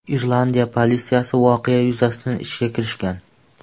Irlandiya politsiyasi voqea yuzasidan ishga kirishgan.